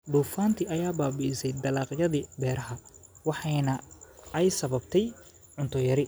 Duufaanta ayaa baabi�isay dalagyadii beeraha, waxaana ay sababtay cunto yari.